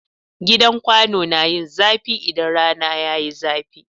Gidan kwano na yin zafi idan rana yayi zafi